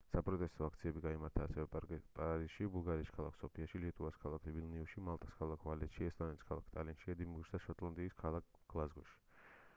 საპროტესტო აქციები გაიმართა ასევე პარიზში ბულგარეთის ქალაქ სოფიაში ლიეტუვას ქალაქ ვილნიუსში მალტას ქალაქ ვალეტაში ესტონეთის ქალაქ ტალინში ედინბურგში და შოტლანდიის ქალაქ გლაზგოში